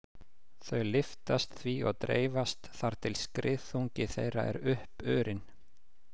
Þau lyftast því og dreifast þar til skriðþungi þeirra er uppurinn.